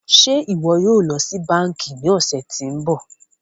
Ṣe iwọ yóò lọ si banki ni ọsẹ ti n bọ?